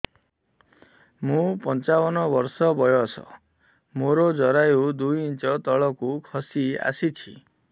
ମୁଁ ପଞ୍ଚାବନ ବର୍ଷ ବୟସ ମୋର ଜରାୟୁ ଦୁଇ ଇଞ୍ଚ ତଳକୁ ଖସି ଆସିଛି